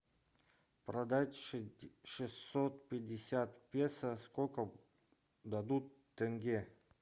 продать шестьсот пятьдесят песо сколько дадут тенге